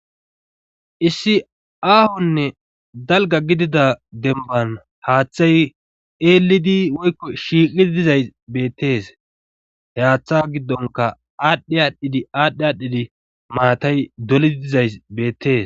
issi aahonne dalga gidida demban haaththay eelidi woykko shiiqqi dizay beettees heaththa he giddonka aadhdhi aadhdhidi aadhdhi aadhdhidi maatay dolidi dizays beettees